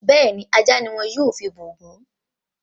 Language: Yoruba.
Bẹ́ẹ̀ni, ajá ni wọ́n yóò fi bọ òògùn